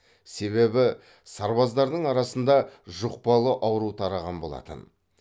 себебі сарбаздардың арасында жұқпалы ауру тараған болатын